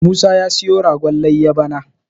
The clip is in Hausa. Musa ya siyo ragon layyar bana